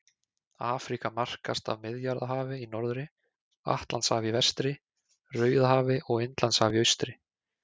Afríka markast af Miðjarðarhafi í norðri, Atlantshafi í vestri, Rauðahafi og Indlandshafi í austri.